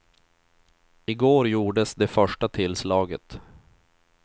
I går gjordes det första tillslaget.